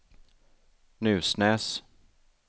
Nusnäs